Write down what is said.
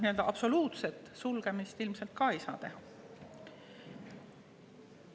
Nii et absoluutset sulgemist ilmselt ei saa teha.